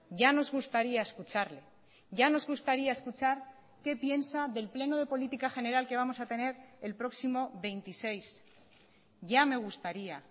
ya nos gustaría escucharle ya nos gustaría escuchar qué piensa del pleno de política general que vamos a tener el próximo veintiséis ya me gustaría